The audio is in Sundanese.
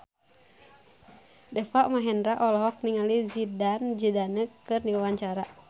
Deva Mahendra olohok ningali Zidane Zidane keur diwawancara